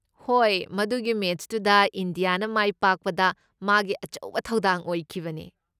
ꯍꯣꯏ, ꯃꯗꯨꯒꯤ ꯃꯦꯆꯇꯨꯗ ꯏꯟꯗꯤꯌꯥꯅ ꯃꯥꯏ ꯄꯥꯛꯄꯗ ꯃꯥꯒꯤ ꯑꯆꯧꯕ ꯊꯧꯗꯥꯡ ꯑꯣꯏꯈꯤꯕꯅꯦ꯫